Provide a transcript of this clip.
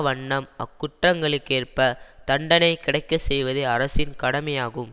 வண்ணம் அக்குற்றங்களுக்கேற்பத் தண்டனை கிடைக்க செய்வதே அரசின் கடமையாகும்